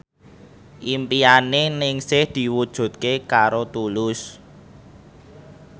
impine Ningsih diwujudke karo Tulus